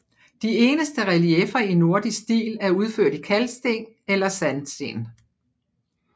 De eneste relieffer i nordisk stil er udført i kalksten eller sandsten